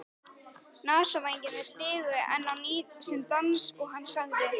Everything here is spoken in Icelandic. Nasavængirnir stigu enn á ný sinn dans og hann sagði